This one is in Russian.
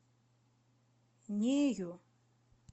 нею